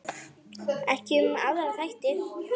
Ekki um aðra þætti.